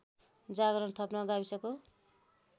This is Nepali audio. जागरण थप्न गाविसको